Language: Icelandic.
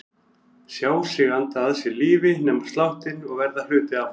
Sjá sig anda að sér lífi, nema sláttinn og verða hluti af honum.